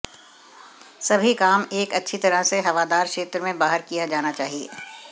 सभी काम एक अच्छी तरह से हवादार क्षेत्र में बाहर किया जाना चाहिए